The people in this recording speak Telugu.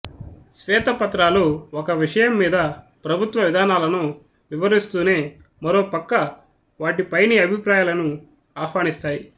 శ్వేత పత్రాలు ఒక విషయం మీద ప్రభుత్వ విధానాలను వివరిస్తూనే మరో పక్క వాటిపైని అభిప్రాయాలను అహ్వానిస్తాయి